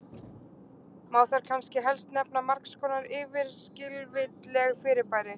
Má þar kannski helst nefna margs konar yfirskilvitleg fyrirbæri.